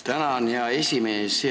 Tänan, hea esimees!